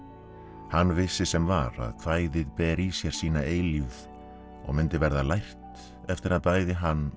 hann vissi sem var að kvæðið ber í sér sína eilífið og mundi verða lært eftir að bæði hann og